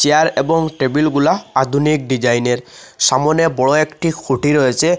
Chair এবং table -গুলা আধুনিক ডিজাইন -এর সামোনে বড় একটি খুঁটি রয়েছে।